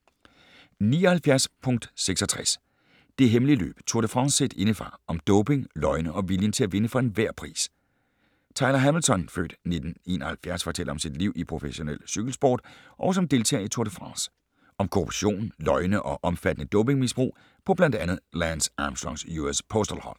79.66 Det hemmelige løb: Tour de France set indefra - om doping, løgne og viljen til at vinde for enhver pris Tyler Hamilton (f. 1971) fortæller om sit liv i professionel cykelsport og som deltager i Tour de France. Om korruption, løgne og omfattende dopingmisbrug på blandt andet Lance Armstrongs US Postal hold.